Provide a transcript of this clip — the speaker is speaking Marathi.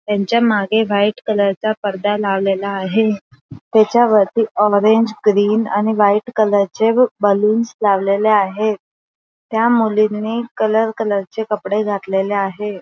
त्यांच्या मागे व्हाईट कलरचा पडदा लावलेला आहे. त्याच्यावरती ऑरेंज ग्रीन आणि व्हाईट कलरचे व बलून्स लावलेले आहे. त्या मुलींनी कलर कलर चे कपडे घातलेले आहे.